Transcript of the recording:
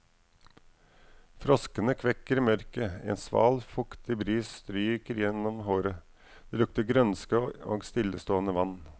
Froskene kvekker i mørket, en sval, fuktig bris stryker gjennom håret, det lukter grønske og stillestående vann.